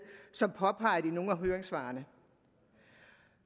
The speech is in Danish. som påpeget i nogle af høringssvarene